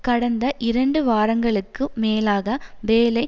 கடந்த இரண்டு வாரங்களுக்கு மேலாக வேலை